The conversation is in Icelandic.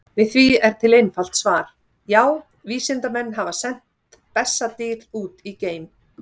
Við því er til einfalt svar: Já, vísindamenn hafa sent bessadýr út í geim!